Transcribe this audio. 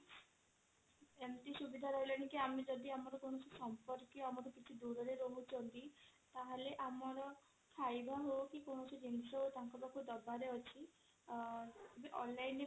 ଏମିତି ସୁବିଧା ରହିଲାଣି କି ଆମେ ଯଦି ଆମର କୌଣସି ସମ୍ପର୍କୀୟ ଆମଠୁ ଦୂରରେ ରହୁଛନ୍ତି ତାହାଲେ ଆମର ଖାଇବା ହେଉ କି କୌଣସି ଜିନିଷ ହେଉ ତାଙ୍କ ପାଖକୁ ଦବାରେ ଅଛି ଆଂ onlineରେ